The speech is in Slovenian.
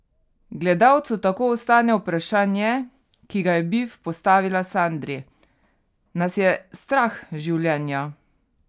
Gledalcu tako ostane vprašanje, ki ga je Bif postavila Sandri: "Nas je strah življenja?